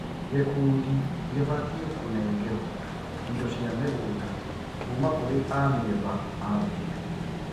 Gīkundī gĩbatiĩ kũnengerwo indo cia mĩgũnda kũũma kũrĩ amemba a mbunge